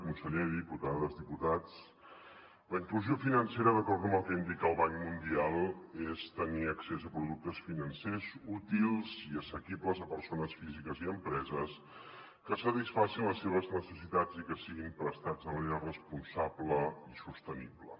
conseller diputades diputats la inclusió financera d’acord amb el que indica el banc mundial és tenir accés a productes financers útils i assequibles a persones físiques i empreses que satisfacin les seves necessitats i que siguin prestats de manera responsable i sostenible